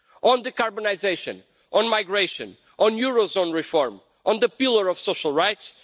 on carbonisation, on migration, on euro area reform, on the pillar of social rights.